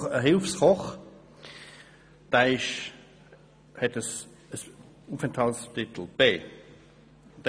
Ich beschäftige einen Hilfskoch, der eine Aufenthaltsbewilligung B hat.